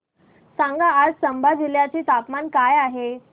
सांगा आज चंबा जिल्ह्याचे तापमान काय आहे